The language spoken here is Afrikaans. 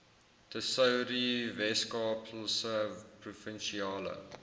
tesourie weskaapse provinsiale